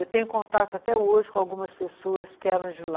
Eu tenho contato até hoje com algumas pessoas que eram de lá,